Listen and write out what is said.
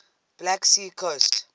black sea coast